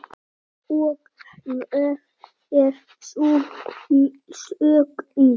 Og hver er sú umsögn?